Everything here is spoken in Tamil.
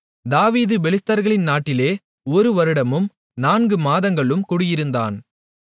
தாவீது பெலிஸ்தர்களின் நாட்டிலே ஒரு வருடமும் நான்கு மாதங்களும் குடியிருந்தான்